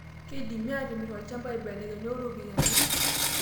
Keidimi atimirr olchamba aibelekeny oo ropiyiani